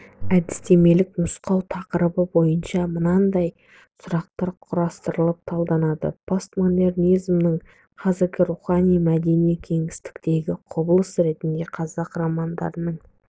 әдістемелік нұсқау тақырып бойынша мынадай сұрақтар құрастырылып талданылады постмодернизмнің қазіргі рухани-мәдени кеңістіктегі құбылыс ретінде қазақ романдарының